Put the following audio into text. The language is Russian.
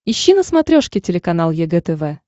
ищи на смотрешке телеканал егэ тв